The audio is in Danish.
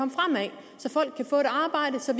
så